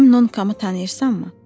Mənim Nonkamı tanıyırsanmı?